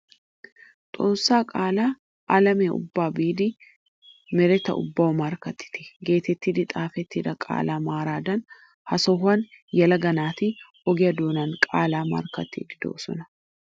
Xoossaa qaalaa alamiya ubbaa biidi nereta ubbawu markkattite geetettidi xaafettida qaalaa maaraadan ha sohuwan yelaga naati ogiya doonan qaalaa markkattoosona.